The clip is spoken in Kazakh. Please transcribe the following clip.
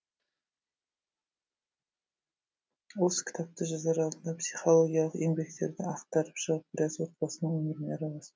осы кітапты жазар алдында психологиялық еңбектерді ақтарып шығып біраз отбасының өміріне араластым